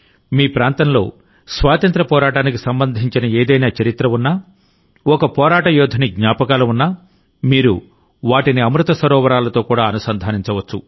మీ ప్రాంతంలో స్వాతంత్ర్య పోరాటానికి సంబంధించిన ఏదైనా చరిత్ర ఉన్నాఒక పోరాట యోధుని జ్ఞాపకాలు ఉన్నా మీరు వాటిని అమృత సరోవరాలతో కూడా అనుసంధానించవచ్చు